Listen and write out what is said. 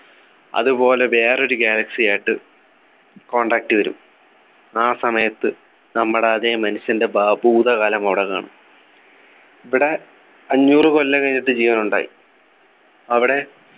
അതുപോലെ വേറൊരു galaxy യായിട്ട് contact വരും ആ സമയത്ത് നമ്മടെ അതെ മനുഷ്യൻ്റെ ഭ ഭൂതകാലം അവിടെ കാണും ഇവിടെ അഞ്ഞൂറ് കൊല്ലം കഴിഞ്ഞിട്ട് ജീവൻ ഉണ്ടായി അവിടെ